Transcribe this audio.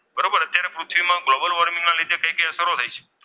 પૃથ્વીમાં global warming ના લીધે કઈ કઈ અસરો થઈ શકે?